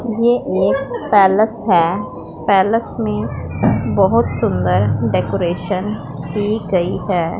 ये एक पैलेस है पैलेस में बहुत सुंदर डेकोरेशन की गई है।